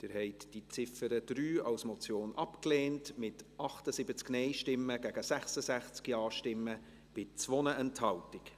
Sie haben die Ziffer 3 als Motion abgelehnt, mit 78 Nein- gegen 66 Ja-Stimmen bei 2 Enthaltungen.